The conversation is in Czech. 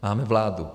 Máme vládu.